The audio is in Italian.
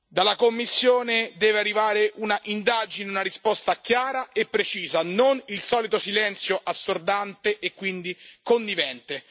Dalla Commissione deve arrivare un'indagine, una risposta chiara e precisa, non il solito silenzio assordante e quindi connivente.